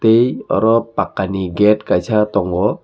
tei oro pakha ni gate kaisa tongo.